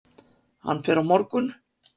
Hann fer á morgun.